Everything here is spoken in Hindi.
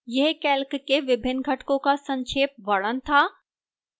यह calc के विभिन्न घटकों का संक्षेप वर्णन था